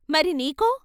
" మరి నీకో?